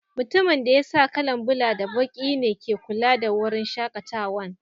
Mutumin da ya sa kala'n bula da baki ne ke kulawa da wurin shakatawan.